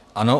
Ano.